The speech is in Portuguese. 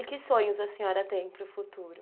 E que sonhos a senhora tem para o futuro?